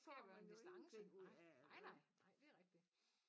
Så får man en distance nej nej nej nej det rigtig